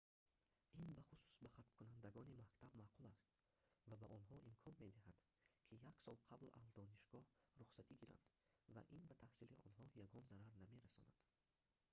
ин бахусус ба хатмкунандагони мактаб маъқул аст ва ба онҳо имкон медиҳад ки як сол қабл аз донишгоҳ рухсатӣ гиранд ва ин ба таҳсили онҳо ягон зарар намерасонад нест